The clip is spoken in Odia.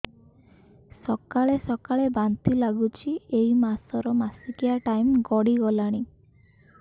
ସକାଳେ ସକାଳେ ବାନ୍ତି ଲାଗୁଚି ଏଇ ମାସ ର ମାସିକିଆ ଟାଇମ ଗଡ଼ି ଗଲାଣି